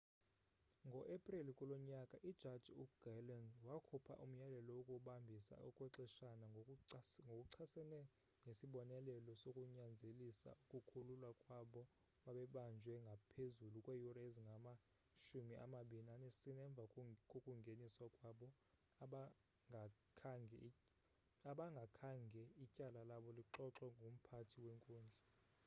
ngo-epreli kulo nyaka ijaji uglynn wakhupha umyalelo wokubambisa okwexeshana ngokuchasene nesibonelelo sokunyanzelisa ukukhululwa kwabo babebanjwe ngaphezulu kweeyure ezingama-24 emva kokungeniswa kwabo abangakhange ityala labo lixoxwe ngumphathi wenkundla